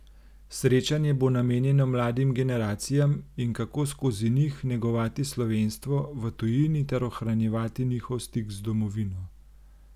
Srečanje bo namenjeno mladim generacijam in kako skozi njih negovati slovenstvo v tujini ter ohranjevati njihov stik z domovino.